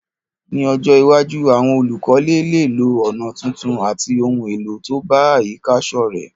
Ní ojó iwájú, àwon olùkọ́lé léè lo ònà tuntun àti oun èlò to bá àyíká sọ́rẹ́